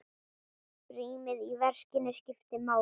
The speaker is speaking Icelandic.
Rýmið í verkinu skiptir máli.